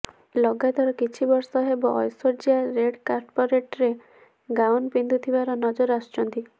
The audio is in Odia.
ଲଗାତର କିଛି ବର୍ଷ ହେବ ଐଶ୍ବର୍ୟ୍ୟା ରେଡ୍ କାର୍ପେଟରେ ଗାଉନ ପିନ୍ଧୁଥିବାର ନଜର ଆସୁଛନ୍ତି